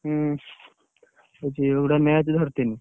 ହୁଁ। ଗୋଟେ match ଧରିଥିଲି।